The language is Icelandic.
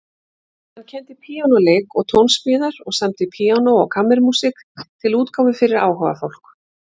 Hann kenndi píanóleik og tónsmíðar og samdi píanó- og kammermúsík til útgáfu fyrir áhugafólk.